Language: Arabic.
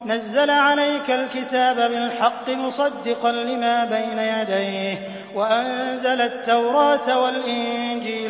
نَزَّلَ عَلَيْكَ الْكِتَابَ بِالْحَقِّ مُصَدِّقًا لِّمَا بَيْنَ يَدَيْهِ وَأَنزَلَ التَّوْرَاةَ وَالْإِنجِيلَ